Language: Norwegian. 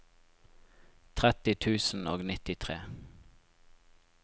tretti tusen og nittitre